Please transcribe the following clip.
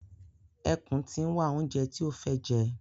Ẹkùn ti ń wá oúnjẹ tí ó fẹ́ jẹ.